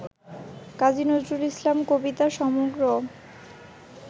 কাজী নজরুল ইসলাম কবিতা সমগ্র